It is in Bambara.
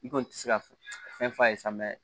I kɔni tɛ se ka fɛn f'a ye sa